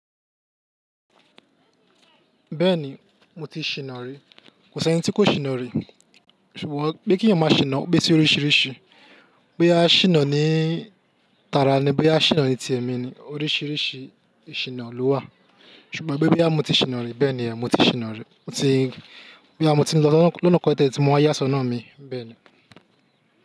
Bẹ́ẹ̀ni mo ti ṣìnà rí, kò sí ẹni tí kò ṣìnà rí. Ṣùgbọ́n pé kí ẹ̀yin máa ṣìnà ó pé si oríṣiríṣi. Boya ṣìnà ní tara ni, boya ṣìnà ní ti èmi ni, oríṣiríṣi ìsìnà ló wà. Ṣùgbọ́n pé bóyá mọ́ ti ṣìnà rí bẹ́ẹ̀ ni ẹ́, mo ti ṣìnà rí. Mo ti, bí àmọ́ ti lọ lọ́nà kan tẹ̀lẹ́tẹlẹ tí mo máa yá ṣọ́nà mi bẹ́ẹ̀ ni.